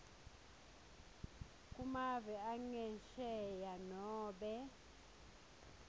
kumave angesheya nobe